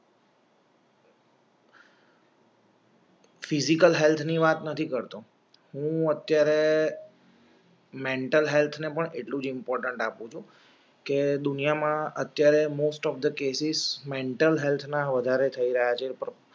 physical હેલ્થની વાત નથી કરતો હું અત્યારે મેન્ટલ હેલ્થને પણ એટલું ઇમ્પોર્ટન્ટ આપું છું કે દુનિયામાં અત્યાર most of thecases મેન્ટલ હેલ્થના વધારે થઇ રહ્યા